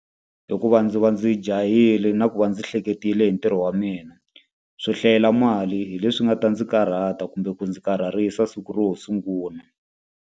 Hikuva ndzi va ndzi jahile na ku va ndzi hleketile hi ntirho wa mina. Swo hlayela mali hi leswi nga ta ndzi karhata kumbe ku ndzi karharisa siku ro ho sungula.